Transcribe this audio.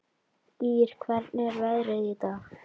Ýr, hvernig er veðrið í dag?